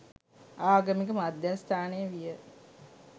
ආගමික මධ්‍යස්ථානය විය.